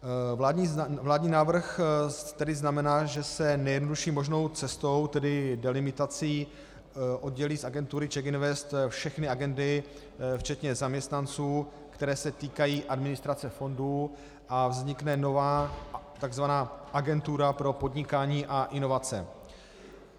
Vládní návrh tedy znamená, že se nejjednodušší možnou cestou, tedy delimitací, oddělí z agentury CzechInvest všechny agendy, včetně zaměstnanců, které se týkají administrace fondů, a vznikne nová tzv. Agentura pro podnikání a inovace.